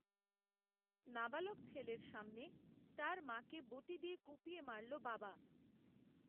নাবালক ছেলের সামনে তার মাকে বঁটি দিয়ে কূপিয়ে মারল বাবা